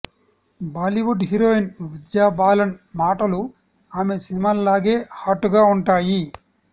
Bollywood heroine Vidya Balan మాటలు ఆమె సినిమాల్లాగే hot గా ఉంటాయి